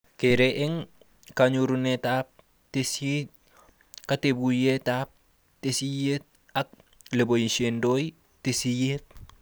Kere eng kanyorunetab tesisyit, katuyetab tesisyit ak leboishendoi tesisyit